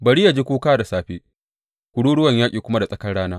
Bari yă ji kuka da safe kururuwan yaƙi kuma da tsakar rana.